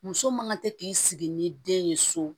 Muso man ka se k'i sigi ni den ye so